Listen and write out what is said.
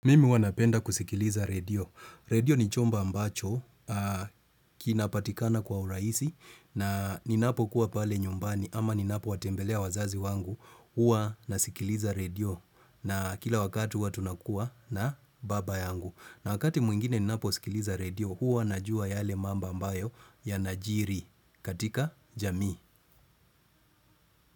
Mimi huwa napenda kusikiliza redio. Redio ni chombo ambacho kinapatikana kwa urahisi na ninapo kuwa pale nyumbani ama ninapowatembelea wazazi wangu huwa nasikiliza redio na kila wakati huwa tunakuwa na baba yangu. Na wakati mwingine ninaposikiliza redio huwa najua yale mambo ambayo yanajiri katika jamii.